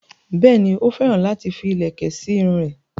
Bẹ́ẹ̀ni, ó féràn láti fi ìlẹ̀kẹ̀ sí irun rẹ̀